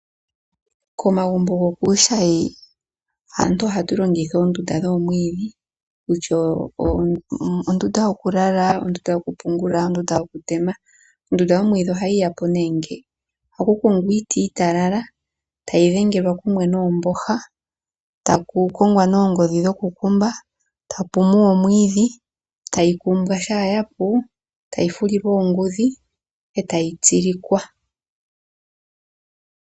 Komagumbo gokuushayi aantu ohatu longitha oondunda dhoomwiidhi kutya ondunda yokulala, ondunda yokupungula, ondunda yokutema. Ondunda yomwiidhi ohayi ya po nee nge: ohaku kongwa iiti iitalala tayi dhengelwa kumwe noomboha, taku kongwa nee oongodhi dhokukumba, tapu muwa omwiidhi, tayi kumbwa. Shampa ya pu tayi fulilwa oongudhi e tayi tsilikwa.